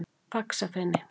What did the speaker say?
Faxafeni